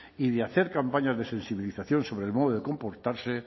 y de hacer campañas de sensibilización sobre el modo comportarse